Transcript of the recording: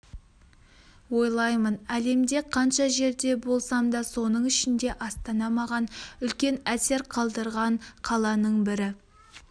ойлаймын әлемде қанша жерде болсам да соның ішінде астана маған үлкен әсер қалдырған қаланың бірі